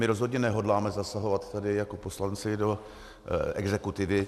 My rozhodně nehodláme zasahovat tady jako poslanci do exekutivy.